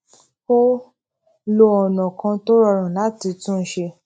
ó lo ònà kan tó rọrùn láti tún un ṣe